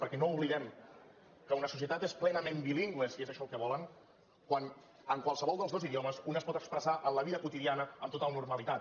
perquè no oblidem que una societat és plenament bilingüe si és això el que volen quan en qualsevol dels dos idiomes un es pot expressar en la vida quotidiana amb total normalitat